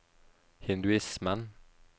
hinduismen